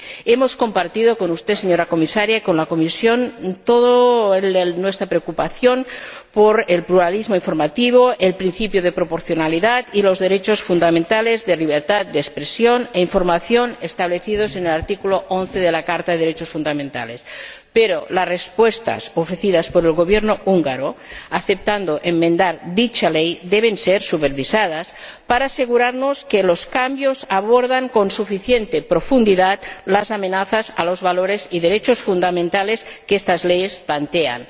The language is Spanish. Hemos compartido con usted, señora Comisaria y con la Comisión, toda nuestra preocupación por el pluralismo informativo, el principio de proporcionalidad y los derechos fundamentales de libertad de expresión e información establecidos en el artículo 11 de la Carta de los Derechos Fundamentales, pero las respuestas ofrecidas por el Gobierno húngaro aceptando enmendar dicha ley deben ser supervisadas para asegurarnos de que los cambios abordan con suficiente profundidad las amenazas a los valores y derechos fundamentales que estas leyes plantean.